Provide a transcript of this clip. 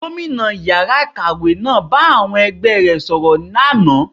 Gómìnà ìyára ikáwe náà bá àwọn ẹgbẹ e rẹ̀ sọ̀rọ̀ lánàá